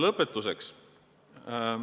Lõpetuseks.